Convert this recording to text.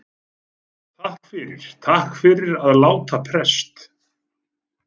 Og takk fyrir. takk fyrir að láta prest.